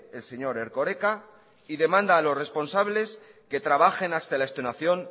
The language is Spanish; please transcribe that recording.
el señor erkoreka y demanda a los responsables que trabajen hasta la extenuación